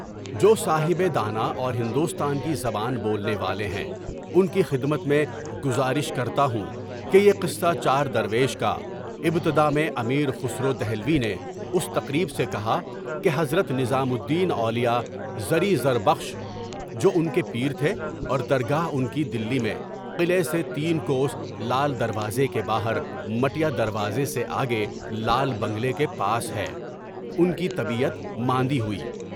جو صاحب دانا اور ہندوستان کی زبان بولنے والے ہیں، ان کی خدمت میں گزارش کرتا ہوں کہ یہ قصہ چار درویش کا، ابتدا میں امیر خسرو دہلوی نے اس تقریب سے کہا کہ حضرت نظام الدین اولیاء، زری زر بخش (جو ایک پیر تھے اور درگاہ ان کی دلی میں، قلعے سے تین کوس، لال دروازے کے باہر، مٹیا دروازے سے آگے، لال بنگلے کے پاس ہے) کی طبیعت ماندی ہوئی۔